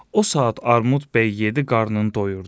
O saat Armud bəy yedi, qarnını doyurdu.